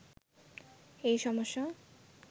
এই সমস্যা